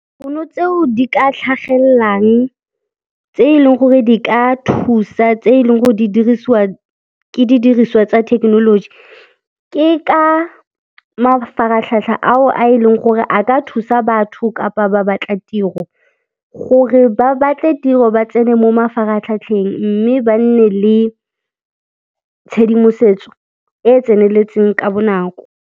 tseo di ka tlhagellang tse e leng gore di ka thusa, tse eleng gore di dirisiwa ke didirisiwa tsa thekenoloji, ke ka mafaratlhatlha ao a e leng gore a ka thusa batho kapa ba batla-tiro gore ba batle tiro ba tsene mo mafaratlhatlheng mme ba nne le tshedimosetso e tseneletseng ka bonako.